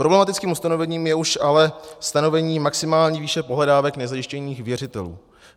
Problematickým ustanovením je už ale stanovení maximální výše pohledávek nezajištěných věřitelů.